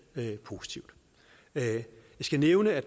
positivt jeg skal nævne at